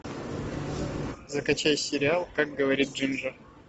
закачай сериал как говорит джинджер